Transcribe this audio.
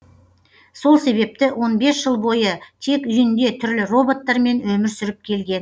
сол себепті он бес жыл бойы тек үйінде түрлі роботтар мен өмір сүріп келген